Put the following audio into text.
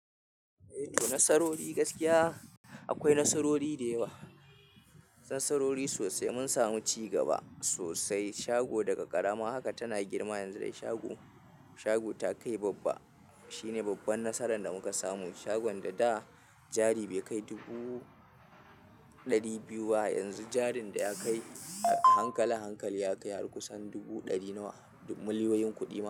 Eh, to nasarori gaskiya akwai nasarori dayawa, nasarori sosai. Mun samu ci gaba sosai. Shago daga ƙarama haka tana girma yanzu dai shago, shago ta kai babba. Shine babban nasaran da mu kasamu. Shagon da da jari bai kai dubu ɗari biyu ba, yanzu jarin da ya kai hankali, hankali ya kai har kusan dubu ɗari nawa. Dub- miliyoyin kuɗi ma.